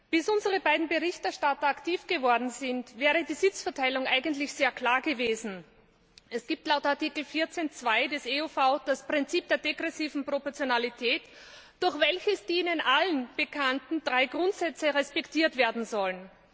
Bis unsere beiden Berichterstatter aktiv geworden sind, war die Sitzverteilung eigentlich sehr klar gewesen. Es gibt laut Artikel 14 Absatz 2 EUV das Prinzip der degressiven Proportionalität, durch welches die Ihnen allen bekannten drei Grundsätze respektiert werden sollen.